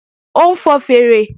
Ó ń fọn fèèrè